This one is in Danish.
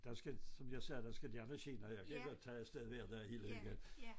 Der skal som jeg sagde der skal gerne ske noget jeg kan godt tage afted hver dag helt alene